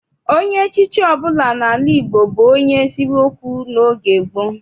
Onye echichi ọbụla n'ala Igbo bụ onye eziokwu n'oge gboo.